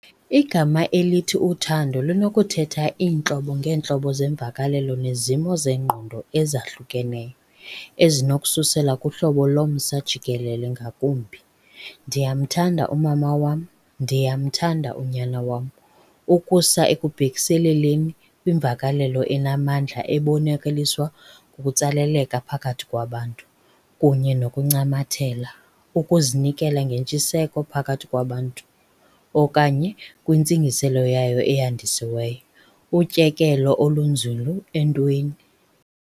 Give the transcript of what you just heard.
Igama elithi uthando linokuthetha iintlobo ngeentlobo zeemvakalelo nezimo zengqondo ezahlukeneyo, ezinokususela kuhlobo lomsa jikelele ngakumbi, "Ndiyamthanda umama wam, ndiyamthanda unyana wam", ukusa ekubhekiseleleni kwimvakalelo enamandla ebonakaliswa ngokutsaleleka phakathi kwabantu. kunye nokuncamathela , ukuzinikezela ngentshiseko phakathi kwabantu okanye, kwintsingiselo yayo eyandisiweyo, utyekelo olunzulu entweni.